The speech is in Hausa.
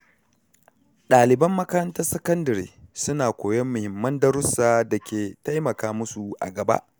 Ɗaliban makarantar sakandire suna koyon muhimman darussa da ke taimaka musu a gaba.